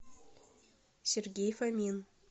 сергей фомин